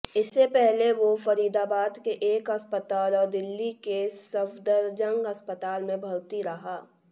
इससे पहले वो फरीदाबाद के एक अस्पताल और दिल्ली के सफदरजंग अस्पताल में भर्ती रहा